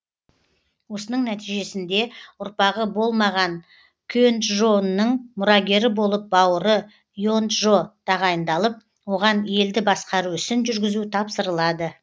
осының нәтижесінде ұрпағы болмаған кенджо нның мұрагері болып бауыры енджо тағайындалып оған елді басқару ісін жүргізу тапсырылады